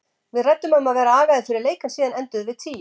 Við ræddum um að vera agaðir fyrir leik en síðan endum við tíu.